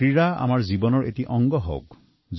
খেলাধুলা আমাৰ জীৱনৰ অংগ হৈ উঠক